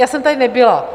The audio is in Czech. Já jsem tady nebyla.